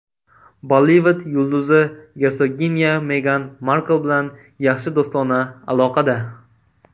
Bollivud yulduzi, gersoginya Megan Markl bilan yaxshi do‘stona aloqada.